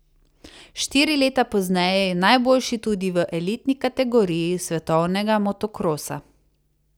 Štiri leta pozneje je najboljši tudi v elitni kategoriji svetovnega motokrosa.